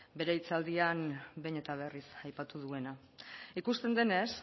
bere hitzaldian behin eta berriz aipatu duena ikusten denez